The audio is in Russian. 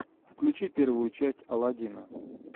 включи первую часть алладина